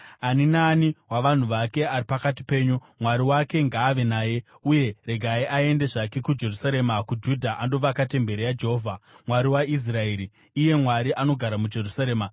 Ani naani wavanhu vake ari pakati penyu, Mwari wake ngaave naye, uye regai aende zvake kuJerusarema kuJudha andovaka temberi yaJehovha, Mwari waIsraeri, iye Mwari anogara muJerusarema.